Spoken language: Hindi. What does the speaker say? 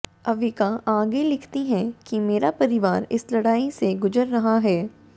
अविका आगे लिखती हैं कि मेरा परिवार इस लड़ाई से गुजर रहा है